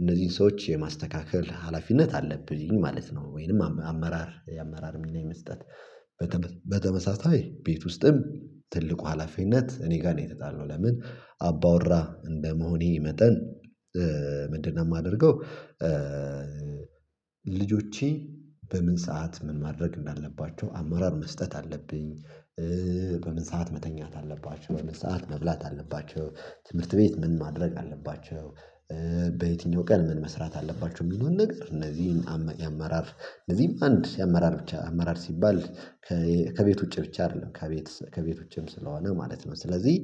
እነዚህን ሰዎች የማስተካከል ሀላፊነት አለብኝ ማለት ነው። ወይንም አመራር የአመራር ሚና የመስጠት። በተመሳሳይ ቤት ውስጥም ትልቁ ሀላፊነት እኔ ጋር ነው የተጣለው። ለምን አባወራ እንደመሆኔ መጠን ምንድነው የማደርገው? ልጆቼ በምን ሰዓት ምን ማድረግ እንዳለባቸው አማራር መስጠት አለብኝ። በምን ሰዓት መተኛት አለባቸው በምን ሰዓት መብላት አለባቸው ትምህርት ቤት ምን ማድረግ አለባቸው። በየትኛው ቀን ምን መስራት አለባችሁ የሚለውን ነገር እነዚህን የአመራር እነዚህም አንድ የአመራር ብቻ አመራር ሲባል። ከቤት ውጪ ብቻ አይደለም ከቤት ከቤቶችም ስለሆነ ማለት ነው። ስለዚህ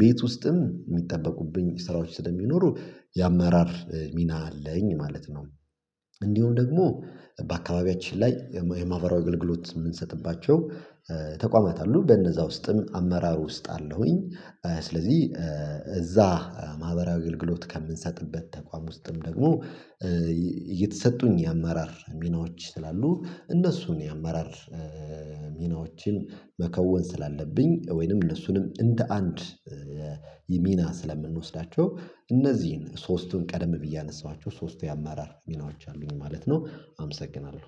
ቤት ውስጥም የሚጠበቁብኝ ስራዎች ስለሚኖሩ የአመራር ሚና አለኝ ማለት ነው። እንዲሁ ደግሞ በአካባቢያችን ላይ የማብራሪያ አገልግሎት የምንሰጥባቸው ተቋማት አሉ በነዛ ውስጥም አመራሩ ውስጥ አለውኝ። ስለዚህ እዛ ማህበራዊ አገልግሎት ከምንሰጥበት ተቋም ውስጥም ደግሞ እየተሰጡኝ የአማራር ሚናዎች ስላሉ እነሱን የአማራር ሚናዎችን መከወን ስላለብኝ ወይንም እነሱንም እንደ አንድ የሚና ስለምንወስዳቸው እነዚህን ሶስቱን ቀደም ብዬ አነሳኋቸው ሶስቱ የአማራር ሚናዎች አሉኝ ማለት ነው። አመሰግናለሁ።